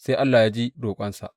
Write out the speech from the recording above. Sai Allah ya ji roƙonsa.